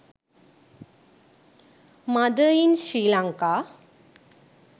mother in sri lanka